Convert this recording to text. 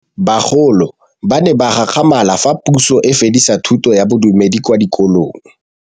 Bagolo ba ne ba gakgamala fa Pusô e fedisa thutô ya Bodumedi kwa dikolong.